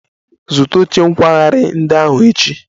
Zụta oche nkwagharị ndị ahụ echi!